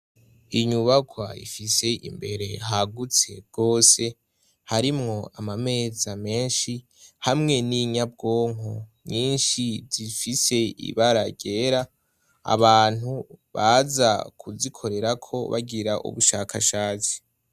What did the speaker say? Inyubakwa ifise imbere hagutse gose harimwo amameza menshi hamwe n'inyabwonko nyinshi zifise ibara ryera, abantu baza kuzikorerako bagira ubushakashatsi.